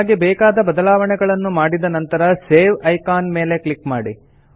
ನಮಗೆ ಬೇಕಾದ ಬದಲಾವಣೆಗಳನ್ನು ಮಾಡಿದ ನಂತರ ಸೇವ್ ಐಕಾನ್ ಕ್ಲಿಕ್ ಮಾಡಿ